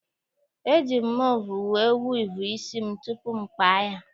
E ji m mvọ wee vọọ isi m tupu m kpaa ya.